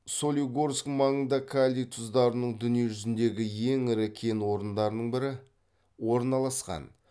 солигорск маңында калий тұздарының дүние жүзіндегі ең ірі кен орындарының бірі орналасқан